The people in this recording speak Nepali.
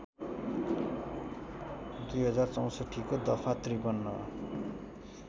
२०६४ को दफा ५३